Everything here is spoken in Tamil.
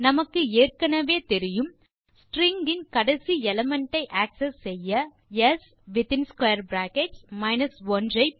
நமக்கு ஏற்கெனெவே தெரியும் ஸ்ட்ரிங் இன் கடைசி எலிமெண்ட் ஐaccess செய்ய ஸ் வித்தின் பிராக்கெட்ஸ் 1